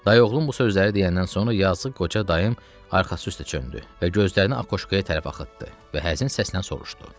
Dayıoğlum bu sözləri deyəndən sonra yazığı qoca dayım arxası üstə çöndü və gözlərini akoşkaya tərəf axıtdı və həzin səslə soruşdu.